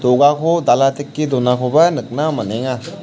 do·gako dala teke donakoba nikna man·enga.